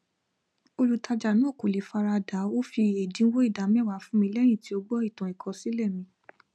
olùtàjà náà kò le fara da ó fi ẹdínwó ida mewa fun mi lẹyìn tí ó gbọ ìtàn ìkọsílẹ mi